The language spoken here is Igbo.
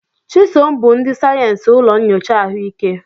Chisom bụ ndị sayensị ụlọ nyocha ahụike.